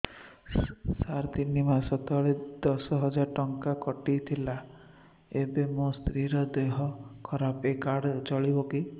ସାର ତିନି ମାସ ତଳେ ଦଶ ହଜାର ଟଙ୍କା କଟି ଥିଲା ଏବେ ମୋ ସ୍ତ୍ରୀ ର ଦିହ ଖରାପ ଏ କାର୍ଡ ଚଳିବକି